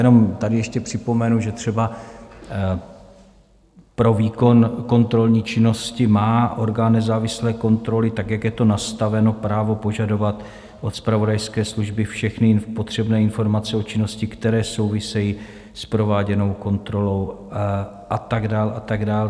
Jenom tady ještě připomenu, že třeba pro výkon kontrolní činnosti má orgán nezávislé kontroly tak, jak je to nastaveno, právo požadovat od zpravodajské služby všechny potřebné informace o činnosti, které souvisejí s prováděnou kontrolou, a tak dál a tak dál.